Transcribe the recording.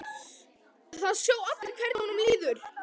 Það sjá allir hvernig honum líður.